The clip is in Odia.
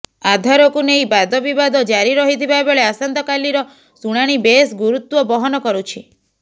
ଆଧାରକୁ ନେଇ ବାଦବିବାଦ ଜାରି ରହିଥିବା ବେଳେ ଆସନ୍ତକାଲିର ଶୁଣାଣି ବେଶ ଗୁରୁତ୍ୱବହନ କରୁଛି